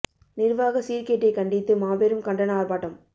நிர்வாக சீர்கேட்டை கண்டித்து மாபெரும் கண்டன ஆர்ப்பாட்டம்